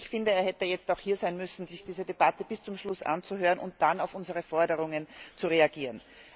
Ich finde, er hätte jetzt auch hier sein müssen, um sich diese Debatte bis zum Schluss anzuhören und dann auf unsere Forderungen zu reagieren.